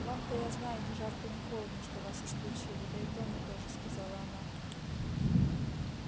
вам-то я знаю ни жарко ни холодно что вас исключили да и тому тоже сказала она